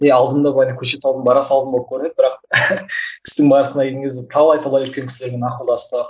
е алдында былайына көше салдым бара салдым болып көрінеді бірақ істің барысына келген кезде талай талай үлкен кісілермен ақылдастық